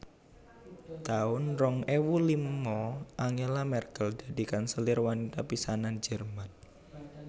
taun rong ewu lima Angela Merkel dadi kanselir wanita pisanan Jerman